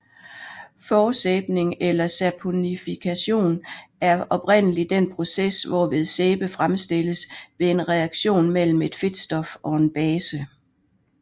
Forsæbning eller saponifikation er oprindelig den proces hvorved sæbe fremstilles ved en reaktion mellem et fedtstof og en base